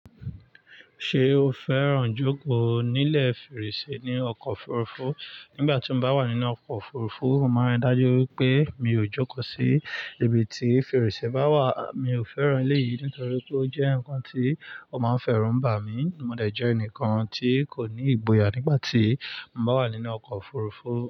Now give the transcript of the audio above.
Ṣé o fẹ́ràn jókòó nílẹ̀ fèrèsé ní ọkọ̀ òfurufú? Nígbà tí mo bá wà nínú ọkọ̀ òfurufú, màá dájú wípé mi ò jókòó sí ibi tí fèrèsé bá wà. Mi ò fẹ́ràn elé yìí nítorí pé ó jẹ́ ǹkan tí ó máa ń fẹ́rùn bà mí. Mo dẹ̀ jẹ́ ẹnìkan tí kò ní ìgboyà nígbà tí mo bá wà nínú ọkọ̀ òfurufú.